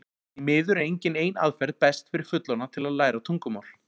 Því miður er engin ein aðferð best fyrir fullorðna til að læra tungumál.